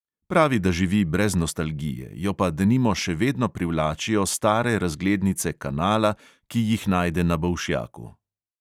Pravi, da živi brez nostalgije, jo pa denimo še vedno privlačijo stare razglednice kanala, ki jih najde na bolšjaku.